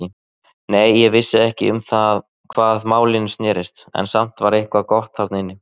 Nei, ég vissi ekki um hvað málin snerust, en samt var eitthvað gott þarna inni.